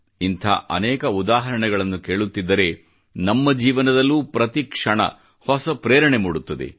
ಇಂಥ ಅನೇಕ ಉದಾಹರಣೆಗಳನ್ನು ಕೇಳುತ್ತಿದ್ದರೆ ನಮ್ಮ ಜೀವನದಲ್ಲೂ ಪ್ರತಿಕ್ಷಣ ಹೊಸ ಪ್ರೇರಣೆ ಮೂಡುತ್ತದೆ